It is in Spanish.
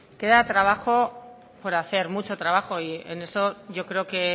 queda trabajo por hacer mucho trabajo y en eso yo creo que